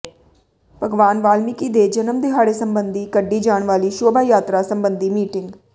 ਭਗਵਾਨ ਵਾਲਮੀਕਿ ਦੇ ਜਨਮ ਦਿਹਾੜੇ ਸਬੰਧੀ ਕੱਢੀ ਜਾਣ ਵਾਲੀ ਸ਼ੋਭਾ ਯਾਤਰਾ ਸਬੰਧੀ ਮੀਟਿੰਗ